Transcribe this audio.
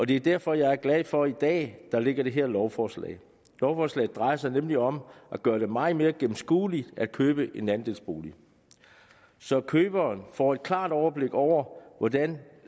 det er derfor jeg er glad for at der ligger det her lovforslag lovforslaget drejer sig nemlig om at gøre det meget mere gennemskueligt at købe en andelsbolig så køberen får et klart overblik over hvordan